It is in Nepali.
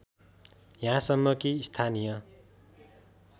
यहाँसम्म कि स्थानीय